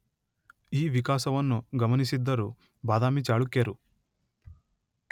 ಈ ವಿಕಾಸವನ್ನು ಗಮನಿಸಿದ್ದರು ಬಾದಾಮಿ ಚಾಳುಕ್ಯರು